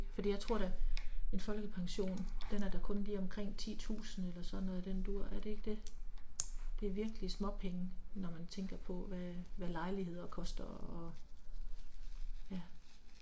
Fordi jeg tror da en folkepension den er da kun lige omkring 10000 eller sådan noget i den du er det ikke det? Det er virkelig småpenge når man tænker på hvad hvad lejligheder koster og ja